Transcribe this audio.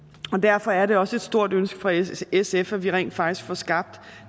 og derfor er det også et stort ønske fra sf sf at vi rent faktisk får skabt